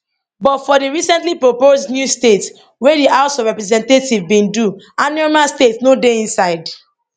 but for di recently proposed new states wey di house of representatives bin do anioma state no dey inside